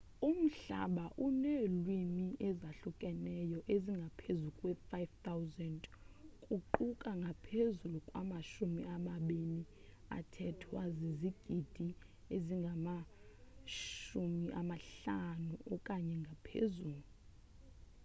umhlaba uneelwimi ezahlukeneyo ezingaphezu kwe-5000 kuquka ngaphezulu kwamashumi amabini athethwa zizigidi ezingama-50 okanye ngaphezulu